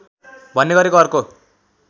भन्ने गरेको अर्को